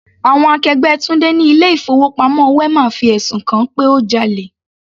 Àwọn akẹgbẹ́ Tunde ni ilé ìfowópamọ́ wema fi ẹ̀sùn kan-an pé ó jalè.